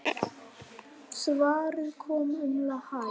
Svarið kom um hæl.